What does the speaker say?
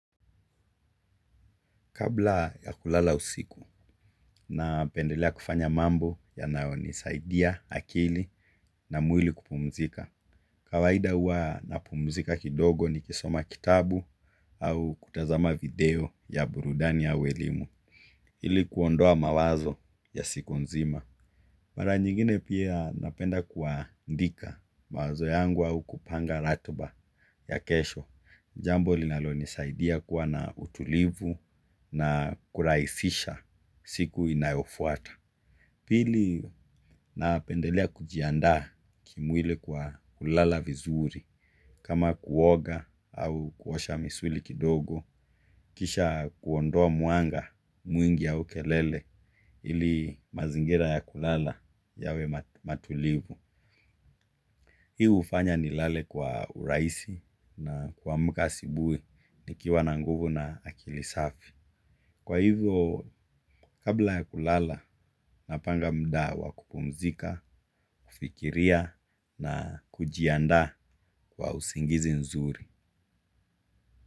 Kabla ya kulala usiku, napendelea kufanya mambo yanayonisaidia akili na mwili kupumzika. Kawaida huwa na pumzika kidogo nikisoma kitabu au kutazama video ya burudani au ya elimu. Ili kuondoa mawazo ya siku nzima. Mara nyingine pia napenda kuandika mawazo yangu au kupanga ratiba ya kesho. Jambo linalonisaidia kuwa na utulivu na kurahisisha siku inayofuata. Pili napendelea kujiandaa kimwili kwa kulala vizuri kama kuoga au kuosha misuli kidogo. Kisha kuondoa mwanga mwingi ya kelele ili mazingira ya kulala yawe tulivu. Hii hufanya nilale kwa urahisi na kuamka asubuhi nikiwa na nguvu na akili safi. Kwa hivyo, kabla ya kulala, napanga muda wa kupumzika, kufikiria na kujiandaa kwa usingizi nzuri.